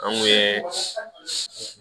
An kun ye